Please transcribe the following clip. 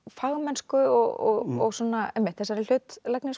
fagmennsku og einmitt þessari hlutlægni